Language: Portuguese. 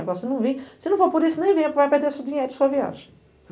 Agora, se não vir, se não for por isso, nem venha, porque vai perder seu dinheiro e sua viagem.